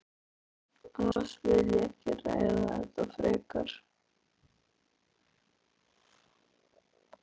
Annars vil ég ekki ræða þetta frekar.